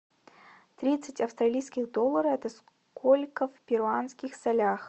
тридцать австралийских доллара это сколько в перуанских солях